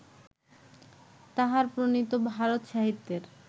তাঁহার প্রণীত ভারত-সাহিত্যের